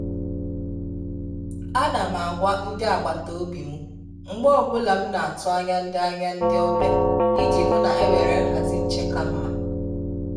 À nà m ágwà ndị́ agbata obi m mgbe ọ bụla m na-atụ́ ányá ndị́ ányá ndị́ ọ́bị̀à iji hụ́ na e nwere nhazị nchè kà mma.